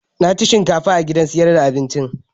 Na ci shinkafa a gidan sayar da abincin